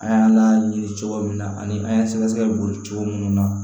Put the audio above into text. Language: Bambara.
An y'an laɲini cogo min na ani an y'an sɛgɛsɛgɛ cogo minnu na